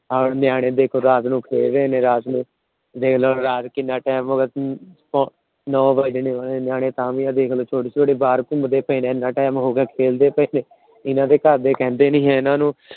ਨਿਆਣੇ ਦੇਖੋ ਰਾਤ ਨੂੰ ਖੇਲ ਰਹੇ ਨੇ। ਰਾਤ ਨੂੰ ਦੇਖਲੋ ਰਾਤ ਨੂੰ ਕਿੰਨਾ Time ਹੋ ਗਿਆ। ਨੋ ਵੱਜ ਗਏ ਨੇ ਤਾਂ ਵੀ ਦੇਖਲੋ ਨਿਆਣੇ ਦੇਖਲੋ ਛੋਟੇ ਛੋਟੇ ਬਾਹਰ ਘੁਮੰਦੇ ਪਏ ਨੇ। ਇੰਨਾ Time ਹੋ ਗਿਆ ਖੇਲਦੇ ਪਏ ਨੇ ਇਹਨਾਂ ਦੇ ਘਰ ਕਹਿੰਦੇ ਨਹੀਂ ਹੈ ਇਹਨਾਂ ਨੂੰ